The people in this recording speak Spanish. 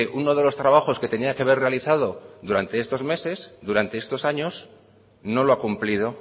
uno de los trabajos que tenía que haber realizado durante estos meses durante estos años no lo ha cumplido